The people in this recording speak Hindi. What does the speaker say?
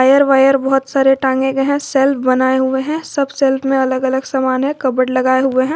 एयर वायर बहोत सारे टांगे गए हैं शेल्फ बनाए हुए हैं सब शेल्फ में अलग अलग समान है कबड लगाए हुए हैं।